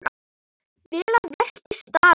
Vel að verki staðið.